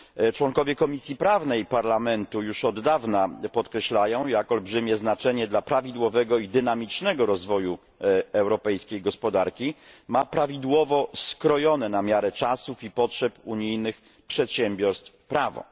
Członkowie Komisji Prawnej Parlamentu już od dawna podkreślają jak olbrzymie znaczenie dla prawidłowego i dynamicznego rozwoju europejskiej gospodarki ma prawidłowo skrojone na miarę czasów i potrzeb unijnych przedsiębiorstw prawo.